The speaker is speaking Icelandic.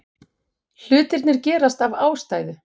Hlutirnir gerast af ástæðu.